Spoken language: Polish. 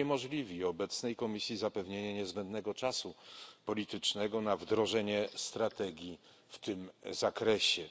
uniemożliwi obecnej Komisji zapewnienie niezbędnego czasu politycznego na wdrożenie strategii w tym zakresie